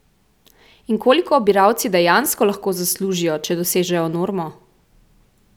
In koliko obiralci dejansko lahko zaslužijo, če dosežejo normo?